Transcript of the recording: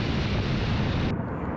Tam üstündədir, getdi.